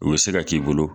U bɛ se ka k'i bolo